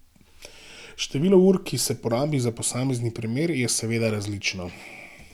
Število ur, ki se porabi za posamezni primer, je seveda različno.